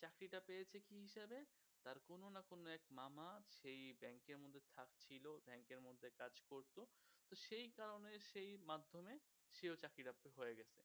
এই কারণে সেই মাধ্যমে sure চাকরি টা হয়ে গেছে